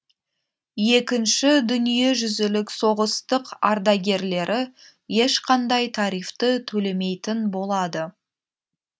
екінші дүниежүзілік соғыстық ардагерлері ешқандай тарифті төлемейтін болады